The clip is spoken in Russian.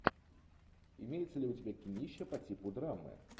имеется ли у тебя кинище по типу драмы